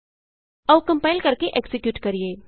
ਆਉ ਕੰਪਾਇਲ ਕਰਕੇ ਐਕਜ਼ੀਕਿਯੂਟ ਕਰੀਏ